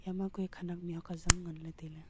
ema koi khanak mihuak azam nganley tailay.